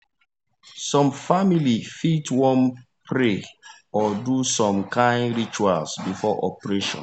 some family fit wan pray or do some kind rituals before operation